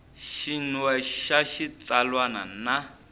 xin we xa xitsalwana na